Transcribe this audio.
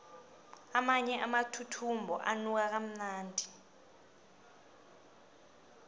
amanye amathuthumbo anuka kamnandi